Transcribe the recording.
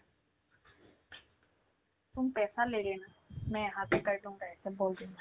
কম pressure লাগে না main হা to কাৰ dungi type হৈছে